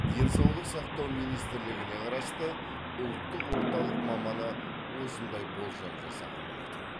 денсаулық сақтау министрлігіне қарасты ұлттық орталық маманы осындай болжам жасаған болатын